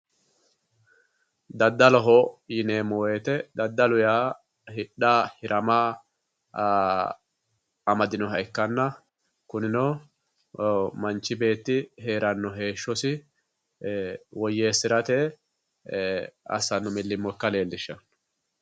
Daddaloho yineemmo woyte daddalu yaa hidha hirama aa amadinoha ikkanna kunino manchi beetti heerano heeshshosi e"e woyyeesirate assano milimilo ikka leelishano.